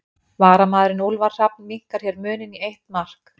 Varamaðurinn Úlfar Hrafn minnkar hér muninn í eitt mark.